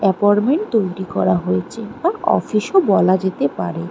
Apartment তৈরি করা হয়েছে এটা অফিস -ও বলা যেতে পারে।